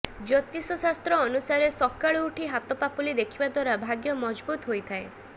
ଜ୍ୟୋତିଷ ଶାସ୍ତ୍ର ଅନୁସାରେ ସକାଳୁ ଉଠି ହାତ ପାପୁଲି ଦେଖିବା ଦ୍ବାରା ଭାଗ୍ୟ ମଜବୁତ୍ ହୋଇଥାଏ